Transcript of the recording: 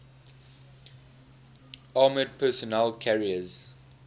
armored personnel carriers